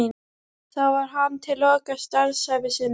Þar var hann til loka starfsævi sinnar.